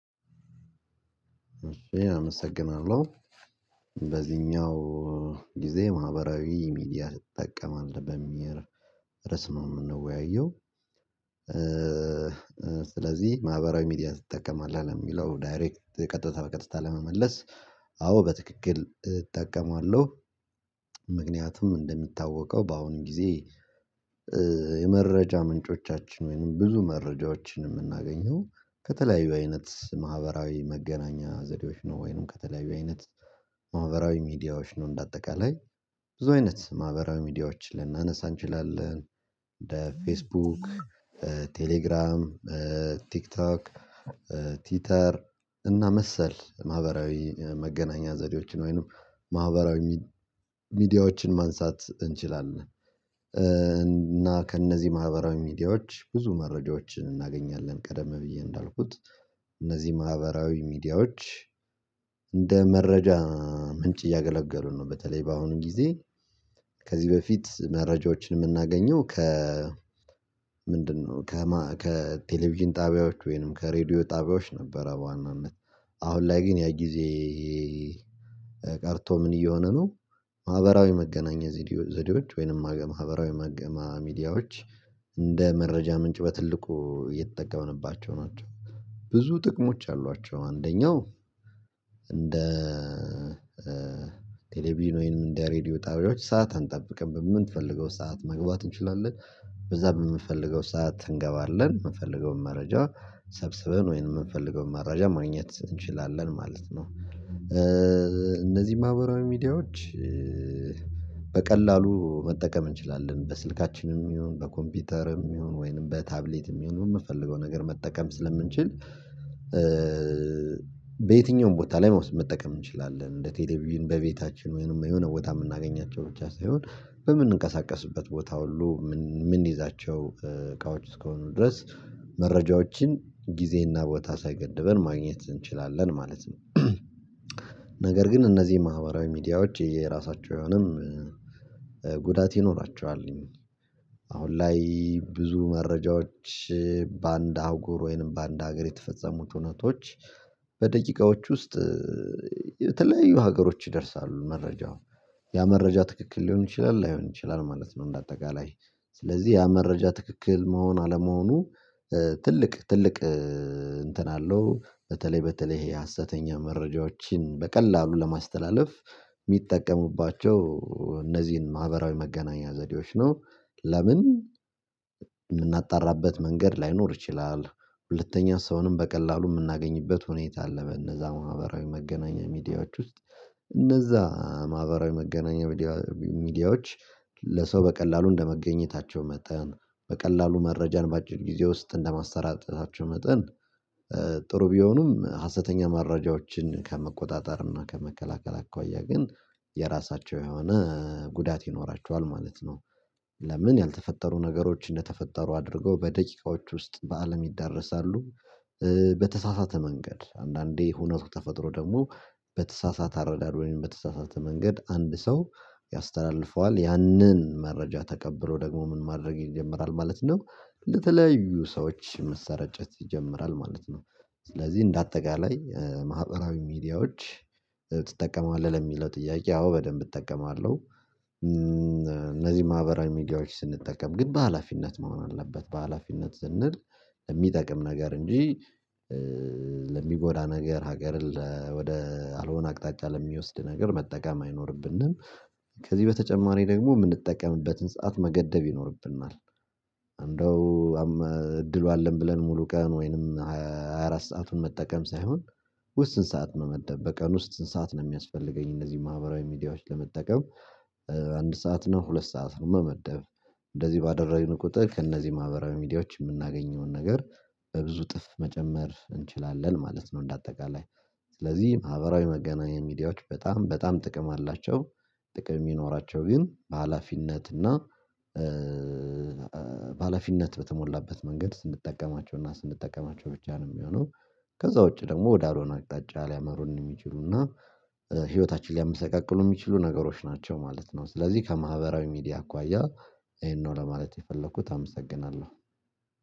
ኢ አመሰግናለሁ በዚህኛው ጊዜ ማህበራዊ ሚዲያ ትጠቀማለህ በሚል ርዕስ ነው ምንወያየው? ስለዚህ ማህበራዊ ሚዲያ ትጠቀማለህ ነው ለሚለው ዳይሬክት ቀጥታ በቀጥታ ለመመለስ አዎ በትክክል እጠቀማለሁ። ምክንያቱም እንደሚታወቀው በአሁኑ ጊዜ የመረጃ ምንጮቻችን ወይንም ብዙ መረጃዎችን የምናገኘው ከተለያዩ አይነት ማህበራዊ መገናኛ ዘዴዎች ነው ወይንም ከተለያዩ አይነት ማህበራዊ ሚዲያዎች ነው እንደአጠቃላይ ብዙ አይነት ማህበራዊ ሚዲያዎችን ልናነሳ እንችላለን እንደ ፌስቡክ ቴሌግራም ቲክቶክ ቲተር እና መሰል ማህበራዊ መገናኛ ዘዴዎችን ወይንም ማህበራዊ ሚዲያዎችን ማንሳት እንችላለን። እና ከእነዚህ ማህበራዊ ሚዲያዎች ብዙ መረጃዎችን እናገኛለን ቀደም ብዬ እንዳልኩት እነዚህ ማህበራዊ ሚዲያዎች እንደ መረጃ ምንጭ እያገለገሉ ነው በተለይ በአሁኑ ጊዜ ከዚህ በፊት መረጃዎችን የምናገኘው ከ ምንድነው ከማ ከቴሌቪዥን ጣቢያዎች ወይንም ከሬዲዮ ጣቢያዎች ነበረ በዋናነት አሁን ላይ ግን ያ ጊዜ ቀርቶ ምን እየሆነ ነው ማህበራዊ መገናኛ ዘዴዎ ዘዴዎች ወይንም ማገ ማህበራዊ መገ ማ ሚዲያዎች እንደ መረጃ ምንጭ በትልቁ እየተጠቀምንባቸው ናቸው። ብዙ ጥቅሞች አሏቸው አንደኛው እንደ ቴሌቪዥን ወይንም እንደ ሬድዮ ጣቢያዎች ሰዓት አንጠብቅም በምንፈልገው ሰዓት መግባት እንችላለን በዛ በምንፈልገው ሰዓት እንገባለን የምንፈልገውን መረጃ ሰብስበን ወይንም የምንፈልገውን መረጃ ማግኘት እንችላለን ማለት ነው። እነዚህ ማህበራዊ ሚዲያዎች በቀላሉ መጠቀም እንችላለን በስልካችንም ይሁን በኮምፒውተርም ይሁን ወይንም በታብሌትም ይሁን የምንፈልገው ነገር መጠቀም ስለምንችል በየትኛውም ቦታ ላይ መውሰድ መጠቀም እንችላለን እንደ ቴሌቪዥን በቤታችን ወይንም የሆነ ቦታ የምናገኛቸው ብቻ ሳይሆን በምንንቀሳቀስበት ቦታ ሁሉ ምን ምንይዛቸው እቃዎች እስከሆኑ ድረስ መረጃዎችን ጊዜና ቦታ ሳይገድበን ማግኘት እንችላለን ማለት ነው። ነገር ግን እነዚህ ማህበራዊ ሚዲያዎች የየራሳቸው የሆነም ጉዳት ይኖራቸዋል አሁን ላይ ብዙ መረጃዎች በአንድ አህጉር ወይም በአንድ ሀገር የተፈጸሙት እውነቶች በደቂቃዎች ውስጥ የተለያዩ ሀገሮች ይደርሳሉ መረጃው ያ መረጃ ትክክል ሊሆን ይችላል ላይሆን ይችላል ማለት ነው። እንደ አጠቃላይ ስለዚህ ያ መረጃ ትክክል መሆን አለመሆኑ ትልቅ ትልቅ እንትን አለው በተለይ በተለይ ይሄ ሀሰተኛ መረጃዎችን በቀላሉ ለማስተላለፍ የሚጠቀሙባቸው እነዚህን ማህበራዊ መገናኛ ዘዴዎች ነው። ለምን የምናጣራበት መንገድ ላይኖር ይችላል ሁለተኛ ሰውንም በቀላሉ የምናገኝበት ሁኔታ አለ በነዛ ማህበራዊ መገናኛ ሚዲያዎች ውስጥ እነዛ ማህበራዊ መገናኛ ሚዲያ ሚዲያዎች ለሰው በቀላሉ እንደመገኘታቸው መጠን በቀላሉ መረጃን በአጭር ጊዜ ውስጥ እንደማሰራጨታቸው መጠን ጥሩ ቢሆኑም ሀሰተኛ መረጃዎችን ከመቆጣጠር እና ከመከላከል አኳያ ግን የራሳቸው የሆነ ጉዳት ይኖራቸዋል ማለት ነው። ለምን ያልተፈጠሩ ነገሮች እንደተፈጠሩ አድርገው በደቂቃዎች ውስጥ በአለም ይዳረሳሉ በተሳሳተ መንገድ አንዳንዴ ሁነቱ ተፈጥሮ ደግሞ በተሳሳተ አረዳድ ወይም በተሳሳተ መንገድ አንድ ሰው ያስተላልፈዋል ያንን መረጃ ተቀብሎ ደግሞ ምን ማድረግ ይጀምራል ማለት ነው ለተለያዩ ሰዎች መሰራጨት ይጀምራል ማለት ነው። ስለዚህ እንደ አጠቃላይ ማህበራዊ ሚዲያዎች ትጠቀማለህ ለሚለው ጥያቄ አዎ በደንብ እጠቀማለሁ። እነዚህ ማህበራዊ ሚዲያዎች ስንጠቀም ግን በሃላፊነት መሆን አለበት በሃላፊነት ስንል እሚጠቅም ነገር እንጂ ለሚጎዳ ነገር ሀገርን ለ ወደ አልሆነ አቅጣጫ ለሚወስድ ነገር መጠቀም አይኖርብንም። ከዚህ በተጨማሪ ደግሞ ምንጠቀምበትን ሰዓት መገደብ ይኖርብናል እንደው እድሉ አለን ብለን ሙሉ ቀን ወይንም ሃያ አራት ሰአቱን መጠቀም ሳይሆን ውስን ሰዓት መመደብ በቀን ውስጥ ስንት ሰዓት ነው የሚያስፈልገኝ እነዚህ ማህበራዊ ሚዲያዎች ለመጠቀም አንድ ሰዓት ነው ሁለት ሰዓት ነው መመደብ እንደዚህ ባደረግን ቁጥር ከእነዚህ ማህበራዊ ሚዲያዎች ምናገኘውን ነገር በብዙ እጥፍ መጨመር እንችላለን ማለት ነው። እንደ አጠቃላይ ስለዚህ ማህበራዊ መገናኛ ሚዲያዎች በጣም በጣም ጥቅም አላቸው። ጥቅም የሚኖራቸው ግን በሃላፊነት እና በሃላፊነት በተሞላበት መንገድ ስንጠቀማቸው እና ስንጠቀማቸው ብቻ ነው የሚሆነው ከዛ ውጪ ደግሞ ወደ አልሆነ አቅጣጫ ሊያመሩን የሚችሉና ህይወታችን ሊያመሰቃቅሉ የሚችሉ ነገሮች ናቸው ማለት ነው። ስለዚህ ከማህበራዊ ሚዲያ አኳያ ይሄን ነው ለማለት የፈለኩት አመሰግናለሁ።